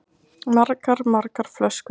Margar, margar flöskur.